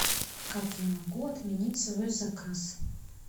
как я могу отменить свой заказ